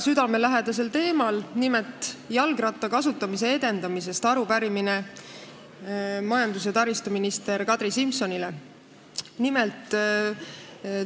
Esitame arupärimise majandus- ja taristuminister Kadri Simsonile mulle väga südamelähedasel teemal, nimelt, jalgratta kasutamise edendamise kohta.